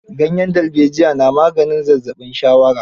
Ganyen darbejiya na maganin zazzaɓin shawara.